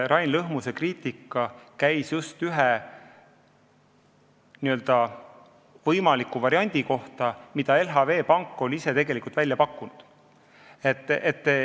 Rain Lõhmuse kriitika käis just ühe võimaliku variandi kohta, mille LHV Pank on ise välja pakkunud.